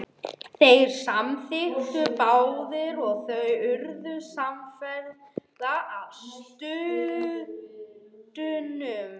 Þeir samþykktu báðir og þau urðu samferða að sturtunum.